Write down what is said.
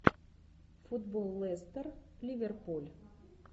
футбол лестер ливерпуль